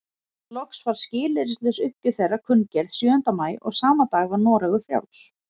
Loks var skilyrðislaus uppgjöf þeirra kunngerð sjöunda maí og sama dag var Noregur frjáls.